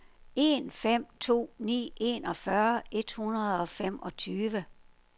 en fem to ni enogfyrre et hundrede og femogtyve